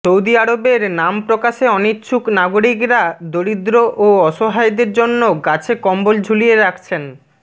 Saudi আরবের নাম প্রকাশে অনিচ্ছুক নাগরিকরা দরিদ্র ও অসহায়দের জন্য গাছে কম্বল ঝুলিয়ে রাখছেন